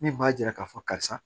Min b'a yira k'a fɔ karisa